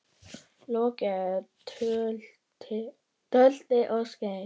Lokið er tölti og skeiði.